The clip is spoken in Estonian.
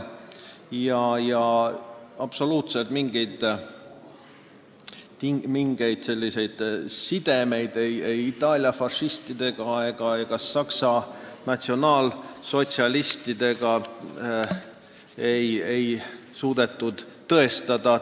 Absoluutselt mingeid sidemeid ei Itaalia fašistidega ega Saksa natsionaalsotsialistidega ei suudetud tõestada.